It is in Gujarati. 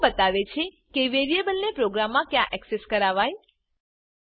સ્કોપ બતાવે છે કે વેરીએબલને પ્રોગ્રામમાં ક્યાં એક્સેસ કરવાય